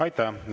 Aitäh!